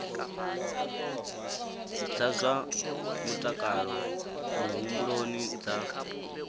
dza zwa mutakalo muhumbuloni dza